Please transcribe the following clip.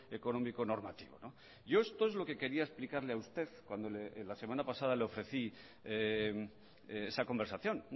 económico normativo yo esto es lo que quería explicarle a usted cuando la semana pasada le ofrecí esa conversación